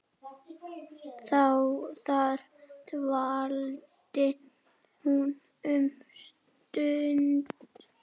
Þar dvaldi hún um stund.